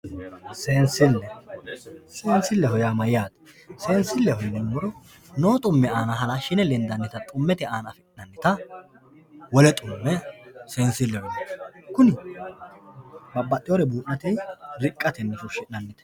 Seensile, seensileho yaa mayyate, seensileho yinuummoro no xumme aana halashine lendanta xummete aana affi'nannitta wole xumme seensileho yineemmo kuni babbaxxewore buudhate riqate horonsi'neemmote.